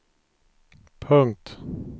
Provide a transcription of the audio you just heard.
punkt